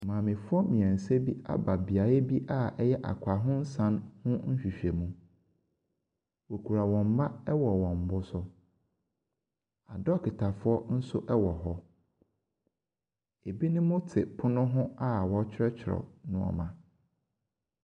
Mmamefoɔ mmienu bi aba beae bi a ɛyɛ akwanhosan ho nhwehwɛmu. Wokura wɔn mma wɔ wɔn bo so. Dɔketa nso wɔ hɔ. Ebinom te pono ho a wɔrekyerɛwkyerɛw nneɛma.